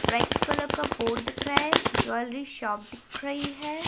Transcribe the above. Red colour का board दिख रहा है ज्वेलरी शॉप दिख रही है।